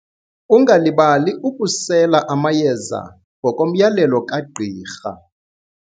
Ungalibali ukusela amayeza ngokomyalelo kagqirha.